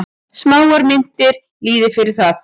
Smáar myntir lýði fyrir það.